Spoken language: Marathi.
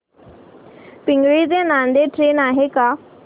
पिंगळी ते नांदेड ट्रेन आहे का